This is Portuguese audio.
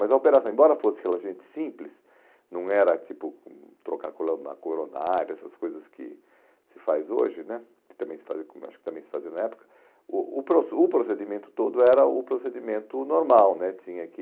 Mas a operação, embora fosse relativamente simples, não era tipo hum trocar colando na coronária, essas coisas que se faz hoje né, que também se fazia como acho que também se fazia na época, o o pro o procedimento todo era o procedimento normal né, tinha que...